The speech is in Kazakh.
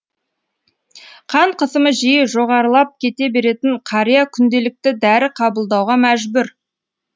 қан қысымы жиі жоғарылап кете беретін қария күнделікті дәрі қабылдауға мәжбүр